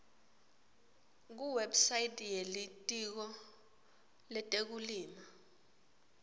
kuwebsite yelitiko letekulima